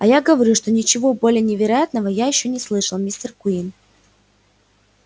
а я говорю что ничего более невероятного я ещё не слышал мистер куинн